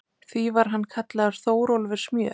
Því var hann kallaður Þórólfur smjör.